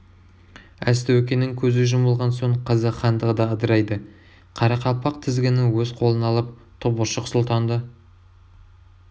әз тәукенің көзі жұмылған соң қазақ хандығы да ыдырайды қарақалпақ тізгінін өз қолына алып тобыршық сұлтанды